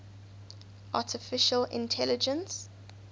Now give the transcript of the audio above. artificial intelligence